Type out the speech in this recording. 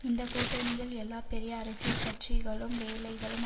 இந்தக்கூட்டணியில் எல்லா பெரிய அரசியல் கட்சிகளும் வேலைகளும்